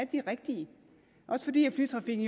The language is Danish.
de rigtige også fordi flytrafikken